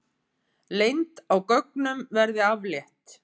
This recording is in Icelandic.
Leynd á gögnum verði aflétt